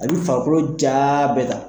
A b'i farikolo ja bɛɛ ta.